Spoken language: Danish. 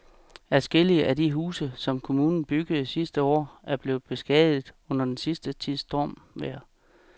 Adskillige af de huse, som kommunen byggede sidste år, er blevet beskadiget under den sidste tids stormvejr.